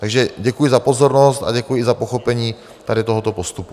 Takže děkuji za pozornost a děkuji i za pochopení tohoto postupu.